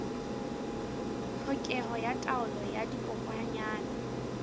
tlhokeho ya taolo ya dikokwanyana